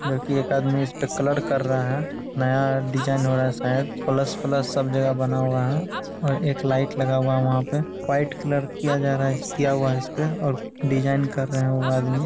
जब की एक आदमी इस पर कलर कर रहा है नया डीजाइन हो रहा है| शायद प्लस - प्लस सब जगा बना हुआ है और एक लाइट लगा हुआ है| वहाँ पे व्हाईट कलर किया जा रहा किया हुआ है| इसपे और डिज़ाइन कर रहे हैं वो आदमी |